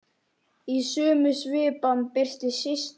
Í sömu svipan birtist Systa.